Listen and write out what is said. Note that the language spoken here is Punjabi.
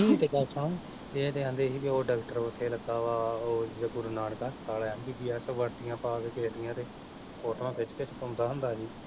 ਨਹੀਂ ਤੇ ਗੱਲ ਸੁਣ ਇਹ ਤਾਂ ਕਹਿੰਦੀ ਹੀ ਕੀ ਡਾਕਟਰ ਉੱਥੇ ਲੱਗਾ ਵਾ ਓ ਗੁਰੂ ਨਾਨਕ ਹਸਪਤਾਲ ਐ ਐਮ ਬੀ ਬੀ ਐਸ ਵਰਦੀਆ ਪਾ ਕੇ ਦੀਆ ਤੇ ਫੋਟੋਆ ਖਿੱਚ ਕੇ ਪਾਉਂਦਾ ਹੁੰਦਾ ਹੀ।